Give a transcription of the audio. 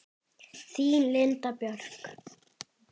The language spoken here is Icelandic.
Þín Linda Björk.